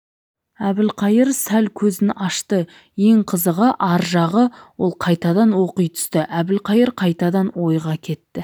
әбілқайыр сәл көзін ашты ең қызығы ар жағы ол қайтадан оқи түсті әбілқайыр қайтадан ойға кетті